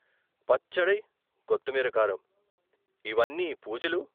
పచ్చడై కొత్తిమెర కారం, ఇవ్వన్ని పూజలు?